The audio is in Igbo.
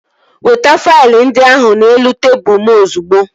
Weta faịlụ ndị ahụ n'elu tebụl m ozigbo!